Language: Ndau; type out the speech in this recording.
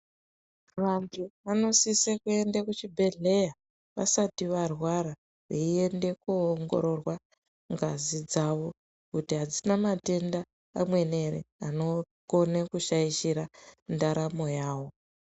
Vantu vanosise kuenda kuzvibhedhlera vasati varwara veiende kunoongororwa ngazi dzavo kuti hadzina matenda amweni anokone kushaishira ndaramo yavo.